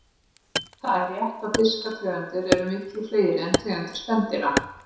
Það er rétt að fiskategundir eru miklu fleiri en tegundir spendýra.